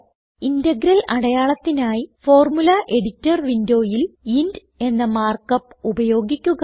integral അടയാളത്തിനായി formula editor വിൻഡോയിൽ int എന്ന മാർക്കപ്പ് ഉപയോഗിക്കുക